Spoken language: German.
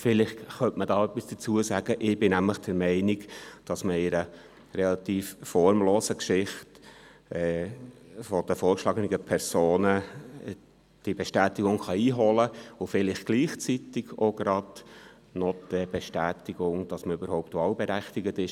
Ich bin der Meinung, man könne die Bestätigung relativ formlos von den vorgeschlagenen Personen einholen und damit vielleicht gleichzeitig die Bestätigung dafür, dass sie überhaupt wahlberechtigt sind.